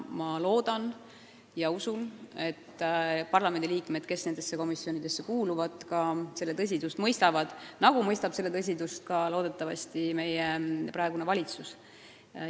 Ma loodan ja usun, et parlamendiliikmed, kes nendesse komisjonidesse kuuluvad, mõistavad selle tõsidust, ja et seda mõistab ka meie praegune valitsus.